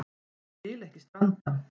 Ég vil ekki stranda.